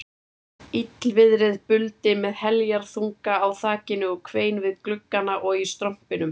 Illviðrið buldi með heljarþunga á þakinu og hvein við gluggana og í strompinum.